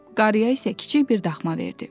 Qarıya isə kiçik bir daxma verdi.